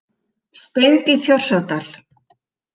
Stöng í Þjórsárdal.